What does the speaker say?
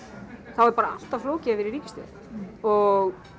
þá er bara alltaf flókið að vera í ríkisstjórn og